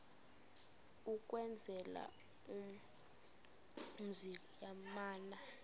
ukwenzela umzi yamana